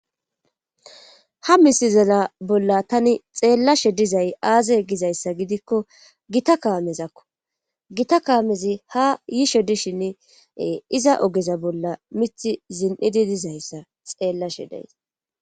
ha misizala bolla tani xeellashe dizay aazay gizayssa gidikko gita kaamezakko gita kaamezi ha yishe dishinn iza ogeza bolla mithi zin7idi dizayssa xeellashe deys